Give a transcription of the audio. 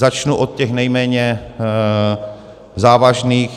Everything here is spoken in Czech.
Začnu od těch nejméně závažných.